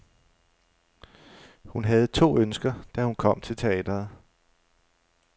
Hun havde to ønsker, da hun kom til teatret.